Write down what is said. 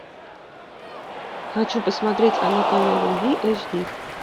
хочу посмотреть анатомия любви эйч ди